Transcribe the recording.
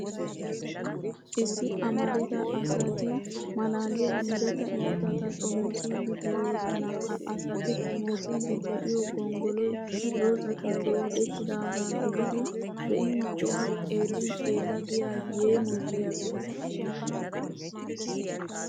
Issi amarida asati malaaliyaa mereta imotata xomoossiiddi de'oosona. Ha asati xomoossiiddi de'iyoo gonggoloy dozatun doodettidaaga gididi be'in be'a, xeellin xeella giya yeemoyiyaa soho.